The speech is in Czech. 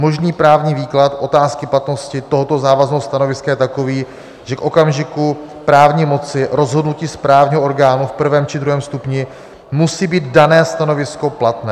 Možný právní výklad otázky platnosti tohoto závazného stanoviska je takový, že k okamžiku právní moci rozhodnutí správního orgánu v prvém či druhém stupni musí být dané stanovisko platné.